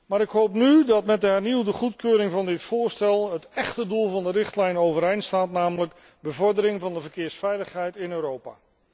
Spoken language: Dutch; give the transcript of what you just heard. Maar ik hoop nu dat met de hernieuwde goedkeuring van dit voorstel het echte doel van de richtlijn wordt bereikt, namelijk bevordering van de verkeersveiligheid in Europa.